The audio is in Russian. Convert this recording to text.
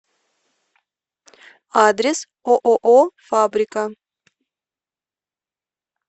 адрес ооо фабрика